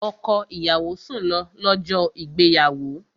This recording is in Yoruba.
Ọkọ ìyàwó sùn lọ, lọ́jọ́ ìgbéyàwó